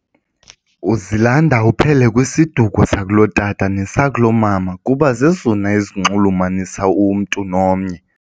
Uzilanda uphele kwisiduko sakulotata nesakulotata mama kuba zezona ezinxulumanisa umntu nomnye.